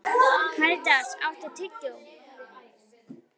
Karítas, áttu tyggjó?